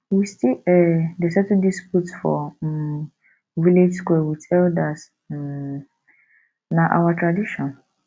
we still um dey settle disputes for um village square wit elders um na our tradition